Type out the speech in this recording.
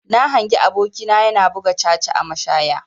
Na hangi aboki na yana buga caca a mashaya.